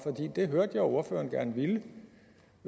det hørte jeg at ordføreren gerne ville